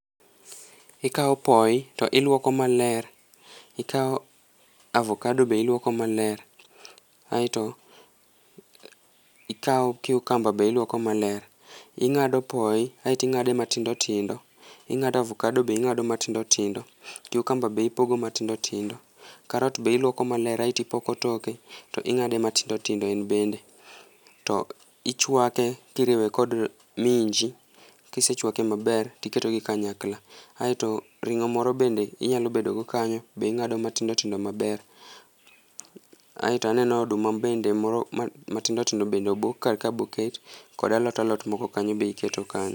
Ikao poi to iluoko maler ikao avokado be iluoko maler, aito ikao cucumber be iluoko maler, ingado poi aito ingade matindo tindo, ingado ovakado be ingado matindo tindo, cucumber be ipogo matindo tindo, carrot be iluoko maler aito ipoko pot e aito ipoge matindo tindo en bende. To, ichwake kiriwe kod minji kisechwake maber tiketogi kanyakla aito ringo moro bende inyalo bedo go kanyo be ingado matindo tindo maber, aito aneno oduma bende moro matindo tindo be obok karka moket kod alot alot moko kanyo be iketo kanyo